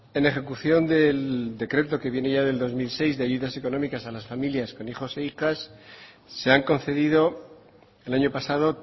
en ejecución del decreto que viene ya del dos mil seis de ayudas económicas a las familias con hijos e hijas se han concedido el año pasado